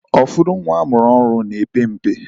Ụfọdụ nwa amụrụ ọhụrụ na-epe mpe.